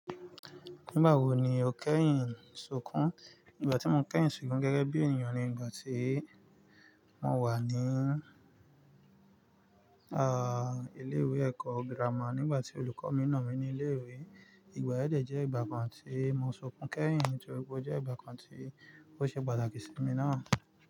Nígbà wo ni o kẹ́yìn sunkún? Ìgbà tí mo kẹ́yìn sunkún gẹ́gẹ́ bí ènìyàn ni ìgbà tí mo wà ní, à, ilé ìwé ẹ̀kọ́ gírámà nígbà tí olùkọ́ mi nà mí ní ilé ìwé. Ìgbà yẹn jẹ́ ìgbà kan tí mo sunkún kẹ́yìn nítorí pé ó jẹ́ ìgbà kan tí ó ṣe pàtàkì sí mi náà.